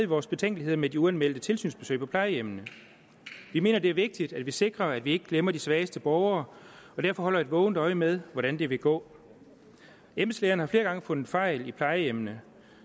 vores betænkeligheder med de uanmeldte tilsynsbesøg på plejehjemmene vi mener det er vigtigt at vi sikrer at vi ikke glemmer de svageste borgere og derfor holder et vågent øje med hvordan det vil gå embedslægerne har flere gange fundet fejl på plejehjemmene